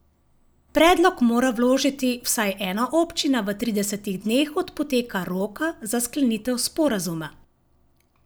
Predlog mora vložiti vsaj ena občina v tridesetih dneh od poteka roka za sklenitev sporazuma.